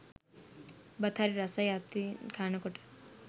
බත් හරි රසයි අතින් කනකොට.